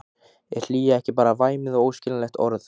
Er hlýja ekki bara væmið og óskiljanlegt orð?